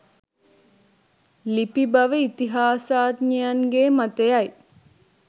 ලිපි බව ඉතිහාසඥයන්ගේ මතය යි.